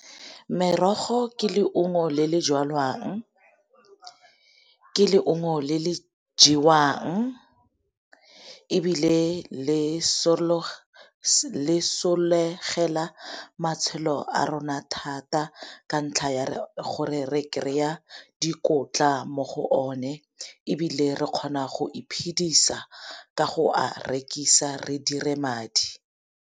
Merogo ke leungo le le jalwang, ke leungo le le jewang, ebile le sologela matshelo a rona thata ka ntlha ya gore re kry-a dikotla mo go o ne. Ebile re kgona go iphidisa ka go a rekisa re dire madi.